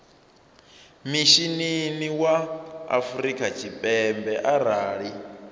mishinini wa afrika tshipembe arali